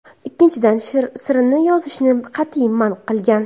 Ikkinchidan, sirini yozishni qat’iy man qilgan.